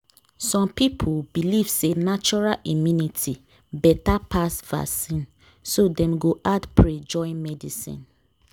some people belief say natural immunity better pass vaccine so dem go add pray join medicine